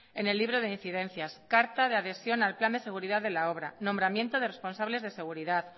en el libro de incidencias carta de adhesión al plan de seguridad de la obra nombramiento de responsables de seguridad